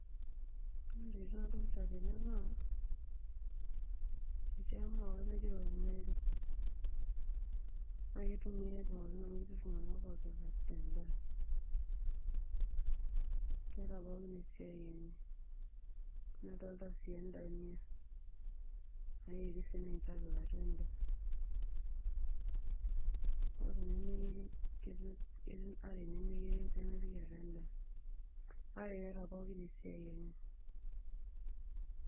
Ore ntokitin nadolta tene naa etii emauai naji rosemary na kitumiai pookin amu ketii ltunganak opik endaa keeta pookin esiai enye nadolta sii endania nayieri sininche apik atua endaa oree nemeyieri ,ketii are nemeyieri nemepiki atua endaa ,kak eeta pookin esiai enye.